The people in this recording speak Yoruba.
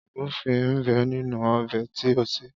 Ògúnfẹ ń bẹ nínú ọbẹ̀ tí o sè.